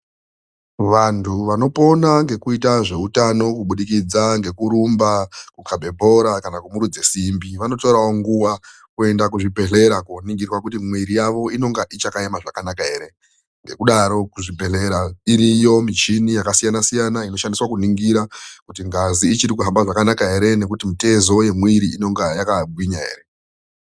Vantu vanopona ngekuita zveutano kubudikidza ngekurumba, kukhabe bhora kana kumurudza simbi vanotorawo nguwa kuende kuzvibhehlera koningirwa kuti mwiri yavo inenge ichakaema zvakanaka ere. Ngekudaro zvibhehlera iriyo michini yakasiyana siyana inoshandiswa kuningira kuti ngazi ichiri kuhamba zvakanaka ere nekuti mitezo yemwiri inenge ichakagwinga ere.